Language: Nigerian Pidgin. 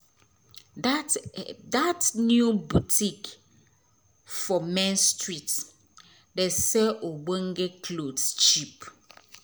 dat dat new botik for main street dey sell ogbonge clothes cheap